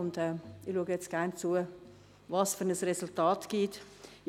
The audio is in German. Ich schaue jetzt gerne, welches Resultat es geben wird.